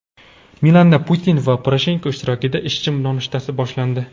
Milanda Putin va Poroshenko ishtirokida ishchi nonushtasi boshlandi.